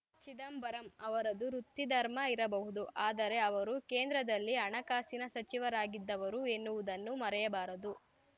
ಚಿದಂಬರಂ ಅವರದು ವೃತ್ತಿಧರ್ಮ ಇರಬಹುದು ಆದರೆ ಅವರು ಕೇಂದ್ರದಲ್ಲಿ ಹಣಕಾಸಿನ ಸಚಿವರಾಗಿದ್ದವರು ಎನ್ನುವುದನ್ನು ಮರೆಯಬಾರದು